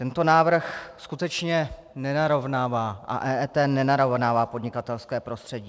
Tento návrh skutečně nenarovnává a EET nenarovnává podnikatelské prostředí.